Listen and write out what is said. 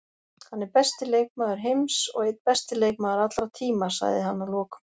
Hann er besti leikmaður heims og einn besti leikmaður allra tíma, sagði hann að lokum.